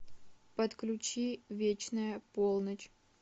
подключи вечная полночь